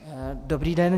Dobrý den.